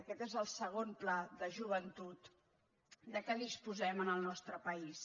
aquest és el segon pla de joventut de què disposem en el nostre país